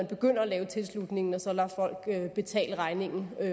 begynder at lave tilslutningen og så lader folk betale regningen